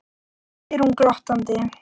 spyr hún glottandi.